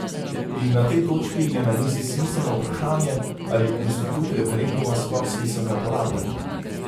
In na tej točki je na mizi smiselno vprašanje, ali institut referenduma sploh smiselno uporabljamo?